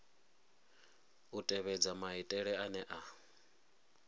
u tevhedza maitele ane a